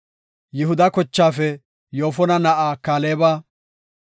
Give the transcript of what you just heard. Yihuda kochaafe Yoofona na7aa Kaaleba;